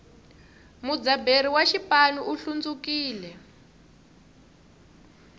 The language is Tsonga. mudzaberi wa xipanu u hlundzukile